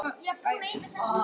Hún er ekki hetja.